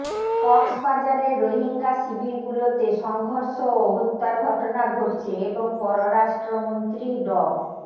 কক্সবাজারের রোহিঙ্গা শিবিরগুলোতে সংঘর্ষ ও হত্যার ঘটনা ঘটছে এবং পররাষ্ট্রমন্ত্রী ড